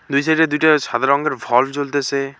দুই সাইড -এ দুইটা সাদা রঙের ভল্ভ জ্বলতেসে।